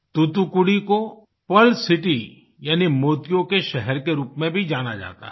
तुतुकुड़ी को pearl city यानि मोतियों के शहर के रूप में भी जाना जाता है